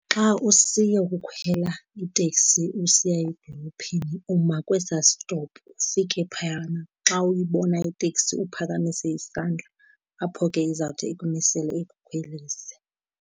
Xa usiyokukhwela iteksi usiya edolophini uma kwesaa sitopu, ufike phayana xa uyibona iteksi uphakamise isandla apho ke izawuthi ikumisele ikukhwelise.